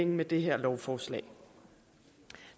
med det her lovforslag